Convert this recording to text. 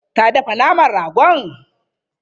Ta dafa naman rago?